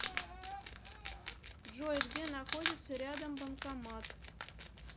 джой где находится рядом банкомат